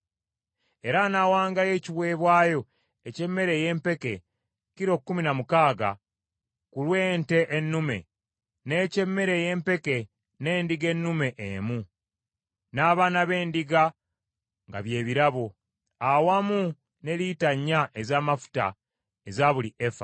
era anaawangayo ekiweebwayo eky’emmere ey’empeke kilo kkumi na mukaaga ku lw’ente ennume, n’eky’emmere ey’empeke n’endiga ennume emu, n’abaana b’endiga nga bye birabo, awamu ne lita nnya ez’amafuta eza buli efa.